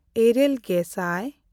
ᱤᱨᱟᱹᱞᱼᱜᱮᱥᱟᱭ